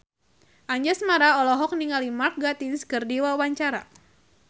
Anjasmara olohok ningali Mark Gatiss keur diwawancara